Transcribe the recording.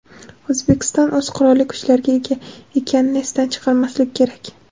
O‘zbekiston o‘z Qurolli kuchlariga ega ekanini esdan chiqarmaslik kerak.